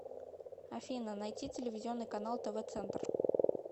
афина найти телевизионный канал тв центр